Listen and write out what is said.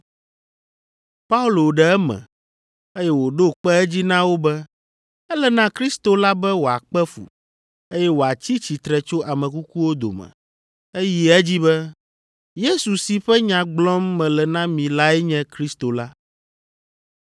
Paolo ɖe eme, eye wòɖo kpe edzi na wo be ele na Kristo la be wòakpe fu, eye wòatsi tsitre tso ame kukuwo dome. Eyi edzi be, “Yesu si ƒe nya gblɔm mele na mi lae nye Kristo la.”